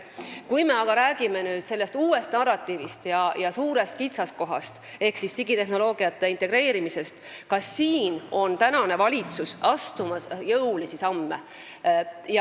Kui me aga räägime sellest uuest narratiivist ja suurest kitsaskohast ehk digitehnoloogiate integreerimisest, siis ka siin astub praegune valitsus jõulisi samme.